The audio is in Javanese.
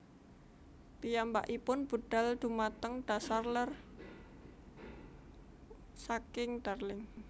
Piyambakipun budhal dhumateng dhasar lèr saking Darling